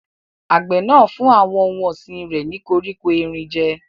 Àgbẹ̀ náà ń fún àwọn ohun ọ̀sìn rẹ̀ ní koríko erin jẹ́.